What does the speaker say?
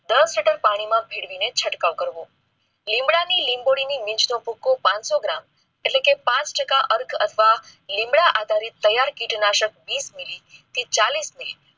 દસ લિટર પાણીમાં મેળવી ચટકાવ કરવો લીમડાની લીંબોળીનું બીજ નું ભુખુ પાનસો gram એટલે કે પાંચ ટકા અર્થ અથવા લીંબડા આધારિત ટાયર કિનાશક વિસ મિલી થી ચાલીસ મીલી